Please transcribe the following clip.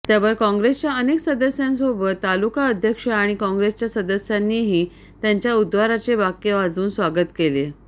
त्यावर काँग्रेसच्या अनेक सदस्यांसोबत तालिका अध्यक्ष आणि काँग्रेसच्या सदस्यांनीही त्यांच्या उद्गाराचे बाके वाजवून स्वागत केले